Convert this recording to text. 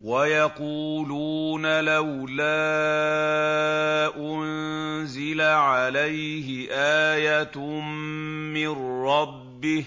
وَيَقُولُونَ لَوْلَا أُنزِلَ عَلَيْهِ آيَةٌ مِّن رَّبِّهِ ۖ